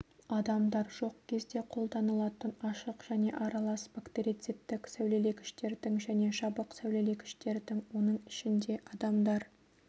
адамдар жоқ кезде қолданылатын ашық және аралас бактерицидтік сәулелегіштердің және жабық сәулелегіштердің оның ішінде адамдар